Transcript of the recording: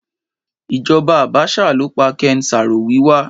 Ìjoba Àbásà ló pa Ken Saro Wiwa